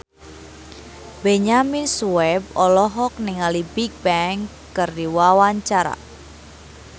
Benyamin Sueb olohok ningali Bigbang keur diwawancara